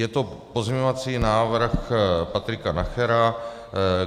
Je to pozměňovací návrh Patrika Nachera.